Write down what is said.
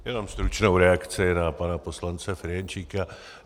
Jen stručnou reakci na pana poslance Ferjenčíka.